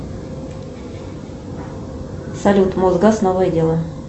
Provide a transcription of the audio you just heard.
салют мосгаз новое дело